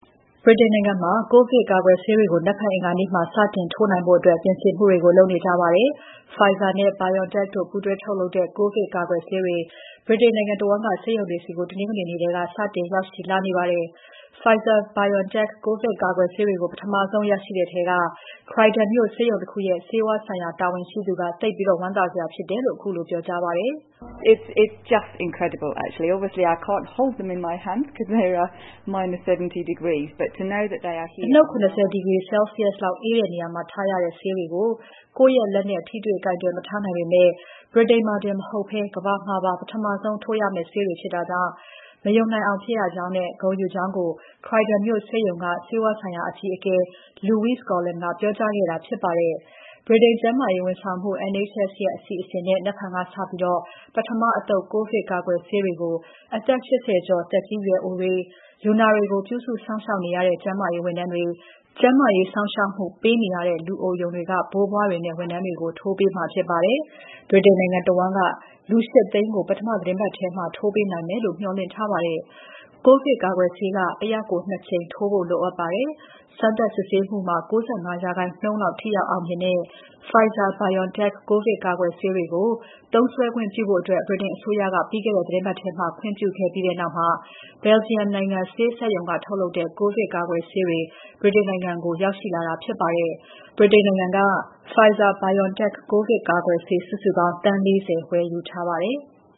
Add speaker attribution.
Speaker 1: ဗြိတိန်နိုင်ငံမှာ ကိုဗစ်ကာကွယ်ဆေးကို နက်ဖြန် အင်္ဂါနေ့မှာ စတင်ထိုးနိုင်ဖို့ ပြင်ဆင်မှုတွေလုပ်နေကြပါတယ်။ Pfizer နဲ့ BioNTech တို့ ပူးတွဲထုတ်လုပ်တဲ့ ကိုဗစ် ကာကွယ်ဆေးတွေ နိုင်ငံတဝန်းက ဆေးရုံတွေဆီ တနင်္ဂနွေနေ့ထဲက စတင်ရောက်ရှိလာနေပါတယ်။ Pfizer ၊BioNTech ကိုဗစ်ကာကွယ်ဆေးတွေ ပထမဆုံးရရှိတဲ့ Croydon မြို့ ဆေးရုံတခုရဲ့ ဆေးဝါးဆိုင်ရာ တဝန်ရှိသူက သိပ်ဝမ်းသာစရာဖြစ်တယ်လို့ ခုလို ပြောကြားပါတယ်။
Speaker 2: အနုတ် ၇၀
Speaker 1: ဒီဂရီ Celsius လောက်အေးတဲ့နေရာမှာ ထားရတဲ့ ဆေးတွေကို ကိုယ့်လက်နဲ့ ကိုင်မထားနိုင်ပေမဲ့ ဗြိတိန်မှာတင်မဟုတ်ဘဲ ကမ္ဘာမှာပါ ပထမဆုံး ထိုးရမယ့်ဆေးတွေဖြစ်တာကြောင့် မယုံနိုင်အောင်ဖြစ်ရကြောင်းနဲ့ ဂုဏ်ယူကြောင်း Croydon မြို့ဆေးရုံက ဆေးဝါးဆိုင်ရာအကြီးအကဲ Louise Coughlan ကပြောကြားခဲ့တာဖြစ်ပါတယ်။ ဗြိတိန်ကျန်းမာရေးဝန်ဆောင်မှု NHS ရဲ့ အစီအစဉ်နဲ့ နက်ဖြန်ကစပြီး ပထမအသုတ် ကိုဗစ်ကာကွယ်ဆေးကို အသက် ၈၀ ကျော် သက်ကြီးရွယ်အိုတွေ၊ လူနာတွေကို ပြုစုစောင့်ရှောက်နေရတဲ့ ကျန်းမာရေးဝန်ထမ်းတွေ၊ ကျန်းမာရေးစောင့်ရှောက်မှု ပေးနေရတဲ့လူအိုရုံတွေက ဘိုးဘွားတွေနဲ့ ဝန်ထမ်းတွေကို ထိုးပေးမှာ ဖြစ်ပါတယ်။ ဗြိတိန်နိုင်ငံတဝန်းက လူ ၈၀၀,၀၀၀ ကို ပထမသီတင်းပတ်ထဲမှာ ထိုးပေးနိုင်မယ်လို့ မေ ျှာ်လင့်ထားပါတယ်။ ကိုဗစ်ကာကွယ်ဆေးက တယောက်ကို ၂ ကြိမ်ထိုးဖို့ လိုအပ်ပါတယ်။ စမ်းသပ်စစ်ဆေးမှုမှာ ၉၅% လောက် ထိရောက်အောင်မြင်တဲ့ Pfizer-BioNTech ကိုဗစ်ကာကွယ်ဆေးတွေကို သုံးစွဲခွင့်ပြုဖို့ ဗြိတိန်အစိုးရက ပြီးခဲ့တဲ့ သီတင်းပတ်ထဲ ခွင့်ပြုခဲ့ပြီးနောက် Belgium နိုင်ငံဆေးစက်ရုံက ထုတ်လုပ်တဲ့ ကိုဗစ်ကာကွယ်ဆေးတွေ ဗြိတိန်နိုင်ငံကို ရောက်ရှိလာတာ ဖြစ်ပါတယ်။ ဗြိတိန်နိုင်ငံက Pfizer-BioNTech ကိုဗစ်ကာကွယ်ဆေး စုစုပေါင်း သန်း ၄၀ ဝယ်ယူထားပါတယ်။